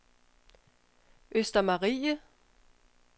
Østermarie